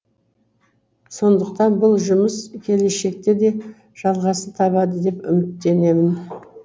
сондықтан бұл жұмыс келешекте де жалғасын табады деп үміттенемін